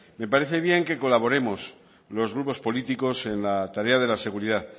me parece bien que colaboremos los grupos políticos en la tarea de la seguridad